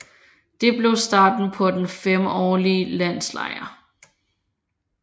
Det blev starten på den femårlige landslejr